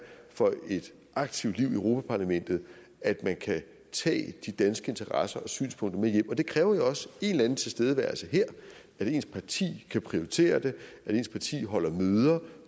for et aktivt liv i europa parlamentet at man kan tage de danske interesser og synspunkter med hjem og det kræver jo også en eller anden tilstedeværelse her at ens parti kan prioritere det at ens parti holder møder